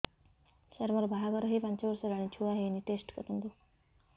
ସାର ମୋର ବାହାଘର ହେଇ ପାଞ୍ଚ ବର୍ଷ ହେଲାନି ଛୁଆ ହେଇନି ଟେଷ୍ଟ କରନ୍ତୁ